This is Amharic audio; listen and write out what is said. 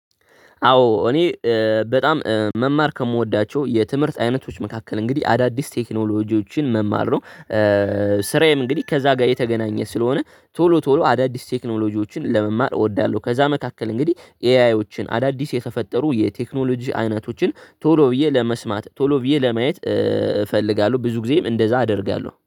አዎ እኔ በጣም መማር ከምወዳቸው የትምህርት አይነቶች መካከል እንግዲህ አዳዲስ ቴክኖሎጂዎችን መማር ነው። ስራዬም እንግዲህ ከዛ ጋር የተገናኘ ስለሆነ ቶሎ ቶሎ አዳዲስ ቴክኖሎጂዎችን ለመማር እወዳለሁ። ከዛ መካከል እንግዲህ ኤአይዎችን አዳዲስ የተፈጠሩ የቴክኖሎጂ አይነቶችን ቶሎ ብዬ ለመስማት ቶሎ ብዬ ለማየት እፈልጋለሁ። ብዙ ጊዜም እንደዛ አደርጋለሁ